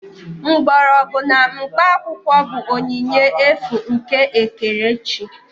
Mgbọrọgwụ na mkpaakwụkwọ bụ onyinye efu nke ekerechi